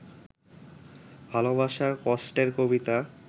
ভালবাসার কষ্টের কবিতা